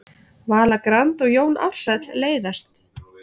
Vala Grand og Jón Ársæll leiðast